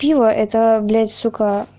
пиво это блять сука